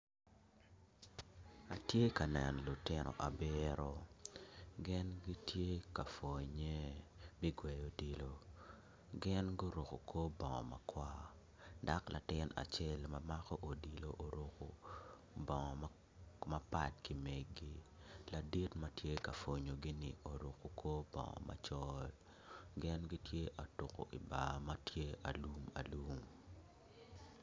Atye ka neno lutino abiro gin gitye ka pwonye i gweyo odilo gin guruko kor bongo makwar dok latin acel ma mako odilo omako bongo mapat ki megi ladit ma tye ka pwonyogini oruko kor bongo macol gin gitye atuko i bar ma tye alumalum.